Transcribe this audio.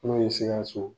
N'o ye sikaso